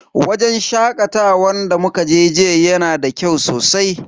Wajen shakatawan da muka je jiya yana da kyau sosai.